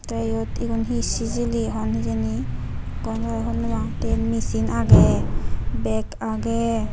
tey iyut igun hi sijili hon hijini gomey hobor nopang tey machine agey bag agey.